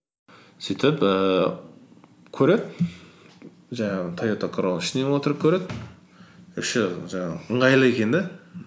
сөйтіп ііі көреді жаңағы тойота королла ішінен отырып көреді іші жаңағы ыңғайлы екен де